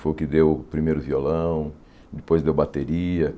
Foi o que deu o primeiro violão, depois deu bateria.